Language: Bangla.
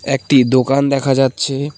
একটি দোকান দেখা যাচ্ছে।